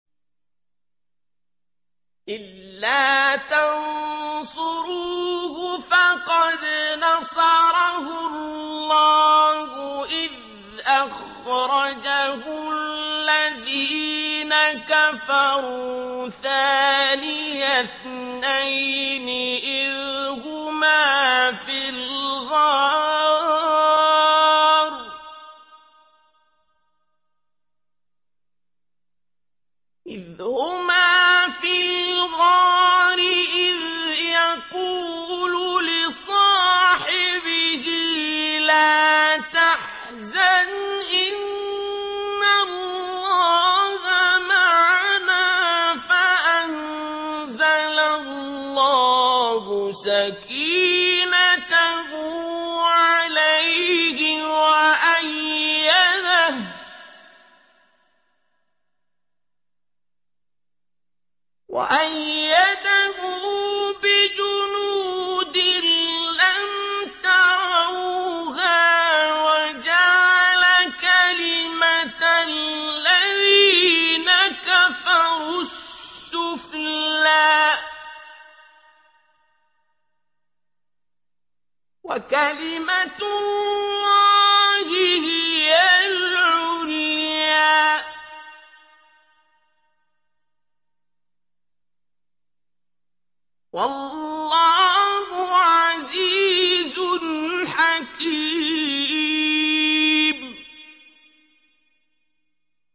إِلَّا تَنصُرُوهُ فَقَدْ نَصَرَهُ اللَّهُ إِذْ أَخْرَجَهُ الَّذِينَ كَفَرُوا ثَانِيَ اثْنَيْنِ إِذْ هُمَا فِي الْغَارِ إِذْ يَقُولُ لِصَاحِبِهِ لَا تَحْزَنْ إِنَّ اللَّهَ مَعَنَا ۖ فَأَنزَلَ اللَّهُ سَكِينَتَهُ عَلَيْهِ وَأَيَّدَهُ بِجُنُودٍ لَّمْ تَرَوْهَا وَجَعَلَ كَلِمَةَ الَّذِينَ كَفَرُوا السُّفْلَىٰ ۗ وَكَلِمَةُ اللَّهِ هِيَ الْعُلْيَا ۗ وَاللَّهُ عَزِيزٌ حَكِيمٌ